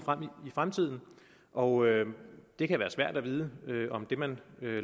i fremtiden og det kan være svært at vide om det man